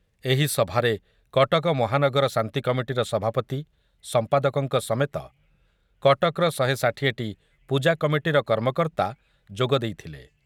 ଏହି ସଭାରେ କଟକ ମହାନଗର ଶାନ୍ତି କମିଟିର ସଭାପତି, ସମ୍ପାଦକଙ୍କ ସମେତ କଟକର ଶହେ ଷାଠିଏ ଟି ପୂଜା କମିଟିର କର୍ମକର୍ତ୍ତା ଯୋଗଦେଇଥିଲେ ।